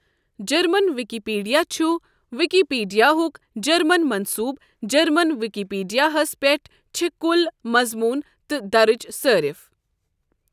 German Wikipedia چھُ وِکیٖپیٖڈیاہُک German مَنصوٗب جَرمَن وِکیٖپیٖڈیاہَس پؠٹھ چھِ کُل مَضموٗن تہٕ دَرٕج صٲرِف۔